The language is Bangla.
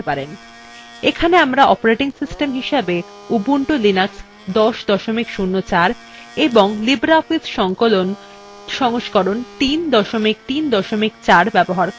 এখানে আমরা অপারেটিং সিস্টেম হিসেবে উবুন্টু লিনাক্স ১০ ০৪ এবং libreoffice সংকলন সংস্করণ ৩ ৩ ৪ ব্যবহার করছি